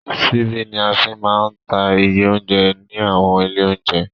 Ṣíbí ní a fí máa ń ta iye óunjẹ ní àwọn ilé óunjẹ.